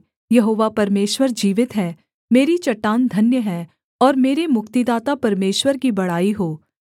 यहोवा परमेश्वर जीवित है मेरी चट्टान धन्य है और मेरे मुक्तिदाता परमेश्वर की बड़ाई हो